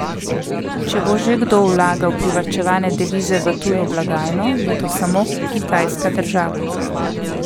Če bo že kdo vlagal privarčevane devize v tujo blagajno, bo to samo kitajska država.